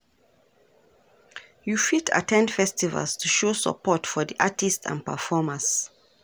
You fit at ten d festivals to show support for di artists and performers.